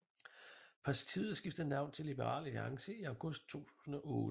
Partiet skiftede navn til Liberal Alliance i august 2008